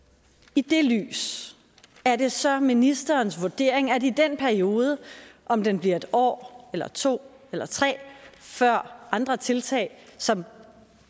i det lys er det så ministerens vurdering at den periode om den bliver et år eller to eller tre før andre tiltag som